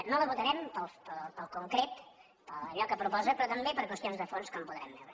no la votarem pel concret per allò que proposa però també per qüestions de fons com podrem veure